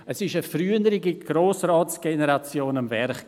Es war eine frühere Grossratsgeneration am Werk.